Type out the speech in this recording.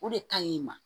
O de ka ɲi i ma